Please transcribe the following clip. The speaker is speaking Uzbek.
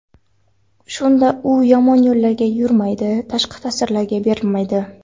Shunda u yomon yo‘llarga yurmaydi, tashqi ta’sirlarga berilmaydi.